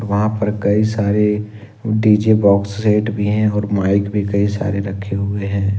यहां पर कई सारे डी_जे बॉक्स सेट भी है और माइक भी कई सारे रखे हुए हैं।